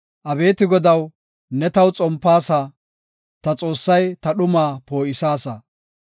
Abeeti Godaw, ne taw xompaasa; ta Xoossay ta dhumaa poo7isaasa.